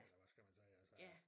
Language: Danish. Eller hvad skal man sige altså at